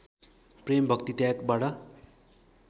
प्रेम भक्ति त्यागबाट